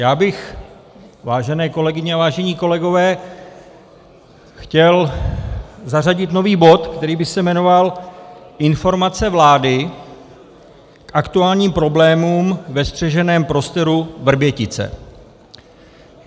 Já bych, vážené kolegyně a vážení kolegové, chtěl zařadit nový bod, který by se jmenoval Informace vlády k aktuálním problémům ve střeženém prostoru Vrbětice.